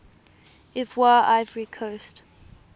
ivoire ivory coast